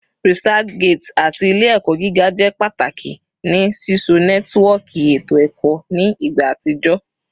ResearchGate ati Ile-ẹkọ giga jẹ pataki ni sisọ nẹtiwọọki eto ẹkọ ni igba atijọ